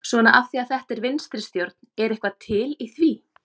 Svona af því að þetta er vinstri stjórn, er eitthvað til í því?